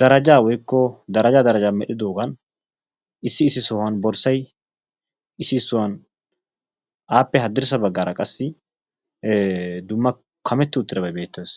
daraja woykko daraja daraja medhdhidoogaan issi issi sohuwan borssay, issi issi sohuwan appe haddirssa baggaara qassi dumma kametti uttidabay beettes.